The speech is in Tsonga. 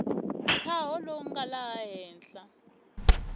ntshaho lowu nga laha henhla